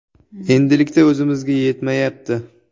Endilikda o‘zimizga yetmayapti.